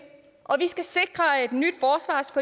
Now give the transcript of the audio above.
og vi skal sikre